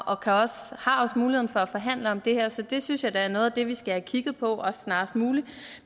og har også muligheden for at forhandle om det her så det synes jeg da er noget af det vi skal have kigget på snarest muligt